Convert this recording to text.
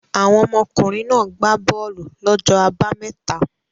Àwọn ọmọkùnrin náà gbá bọ́ọ́lù lọ́jọ́ àbámẹ́ta?